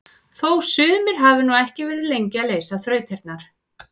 Þó sumir hafi nú ekki verið lengi að leysa þrautirnar!